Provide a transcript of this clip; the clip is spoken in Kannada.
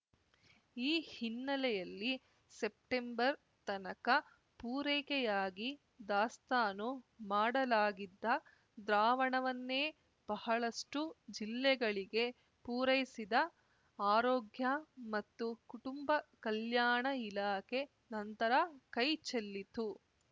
ಈ ಹಿನ್ನೆಲೆಯಲ್ಲಿ ಸೆಪ್ಟೆಂಬರ್‌ ತನಕ ಪೂರೈಕೆಯಾಗಿ ದಾಸ್ತಾನು ಮಾಡಲಾಗಿದ್ದ ದ್ರಾವಣವನ್ನೇ ಬಹಳಷ್ಟುಜಿಲ್ಲೆಗಳಿಗೆ ಪೂರೈಸಿದ ಆರೋಗ್ಯ ಮತ್ತು ಕುಟುಂಬ ಕಲ್ಯಾಣ ಇಲಾಖೆ ನಂತರ ಕೈ ಚೆಲ್ಲಿತು